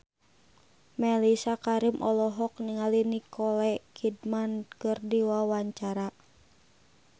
Mellisa Karim olohok ningali Nicole Kidman keur diwawancara